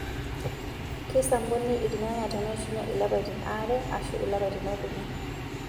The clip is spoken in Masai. Keisampuni irnyanya teneishunye ilapaitin aree mpaka ilapaitin okuni.